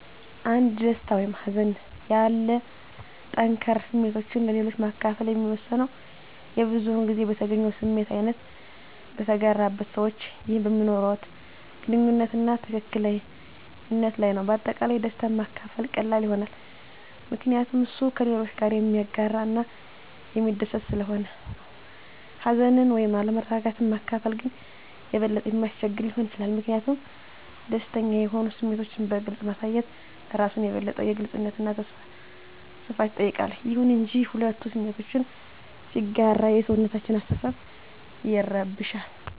አንድ ደስታ ወይም ሀዘን ያሉ ጠንከር ስሜቶችን ለሌሎች ማከፈል የሚወሰነው የብዙዉን ጊዜ በተገኘው ስሜት አይነት፣ በተጋራበት ሰዋች ይህ በሚኖርዋት ግንኙነት አና ትክክል ነት ለይ ነዉ። በአጠቃላይ ደስታን ማካፈል ቀላል ይሆናል ምከንያቱም እሱ ከሌሎች ጋረ የሚያጋረ እና የሚስደስት ሰለሆነ ነው። ሀዘንን ወይም አለመረጋጋት ማካፈል ግን የበለጠ የሚያስቸግር ሊሆን ይችላል ሚኪንያቱም ደስተኛ የሆኑ ስሜቶችን በግልፅ ማሳየት እራሱን የበለጠ የግልጽነት አና ሰፋት ይጠይቃል። ይሁን እንጂ፣ ሁለቱ ስሜቶችን ሲጋራ የሰውነታችን አሰተሳሰብ ይረብሻል